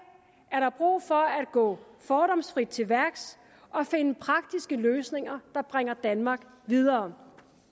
er der brug for at gå fordomsfrit til værks og finde praktiske løsninger der bringer danmark videre